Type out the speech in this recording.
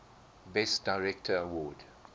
best director award